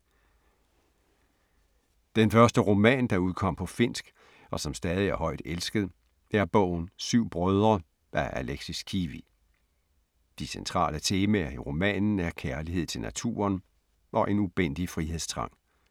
Den første roman, der udkom på finsk og som stadig er højt elsket, er bogen Syv brødre af Alexis Kivi. De centrale temaer i romanen er kærlighed til naturen og en ubændig frihedstrang.